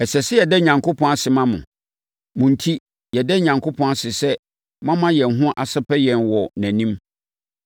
Ɛsɛ sɛ yɛda Onyankopɔn ase ma mo. Mo enti, yɛda Onyankopɔn ase sɛ moama yɛn ho asɛpɛ yɛn wɔ nʼanim.